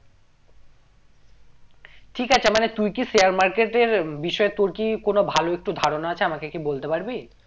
ঠিক আছে মানে তুই কি share market এর বিষয় তোর কি কোনো ভালো একটু ধারণা আছে আমাকে কি বলতে পারবি?